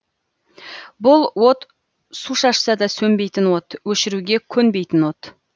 бұл от су шашса да сөнбейтін от өшіруге көнбейтін от